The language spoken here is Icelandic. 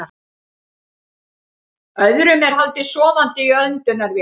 Öðrum er haldið sofandi í öndunarvél